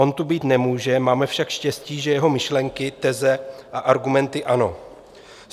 On tu být nemůže, máme však štěstí, že jeho myšlenky, teze a argumenty ano.